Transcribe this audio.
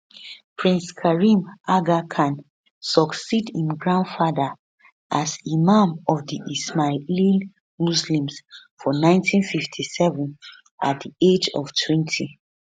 prince karim aga khan succeed im grandfather as imam of di ismaili muslims for 1957 at di age of 20